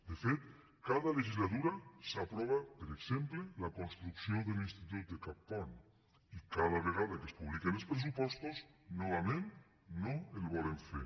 de fet cada legislatura s’aprova per exemple la construcció de l’institut de cappont i cada vegada que es publiquen els pressupostos novament no el volen fer